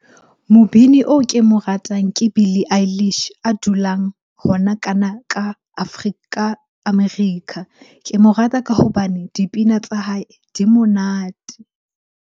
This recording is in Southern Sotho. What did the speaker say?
Mobini oo ke mo ratang ke Billy a dulang hona kana ka ka America. Ke mo rata ka hobane dipina tsa hae di monate.